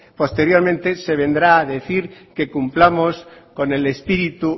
posteriormente se vendrá a decir que cumplamos con el espíritu